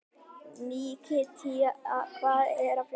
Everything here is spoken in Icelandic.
Nikíta, hvað er að frétta?